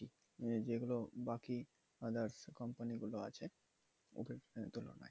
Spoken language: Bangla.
যেগুলো বাকি others company গুলো আছে ওদের তুলনায়।